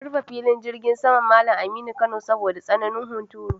An rufe Filin Jirgin Saman Mallam Aminu Kano saboda tsananin huturu.